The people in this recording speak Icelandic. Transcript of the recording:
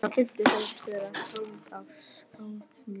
Fótsviti eru algengur kvilli, einkum hjá mjög feitu fólki.